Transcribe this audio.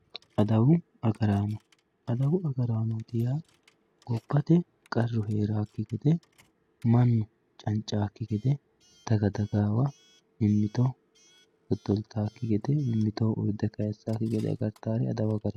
Addawu agarano adawu agarano yaa gobate mannu cancawoki gede manaho salaame aateni daga dagayiwa mimitoho urde kayisawoki gede agartawoteti